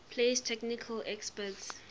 place technical experts